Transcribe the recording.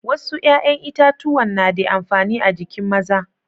Wassu yayan itatuwan na de amfani a'jikin maza.